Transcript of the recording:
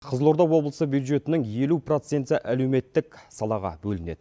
қызылорда облыстық бюджетінің елу проценті әлеуметтік салаға бөлінеді